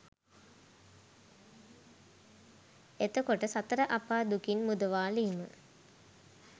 එතකොට සතර අපා දුකින් මුදවාලීම